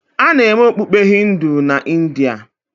A na-eme okpukpe Hindu na India.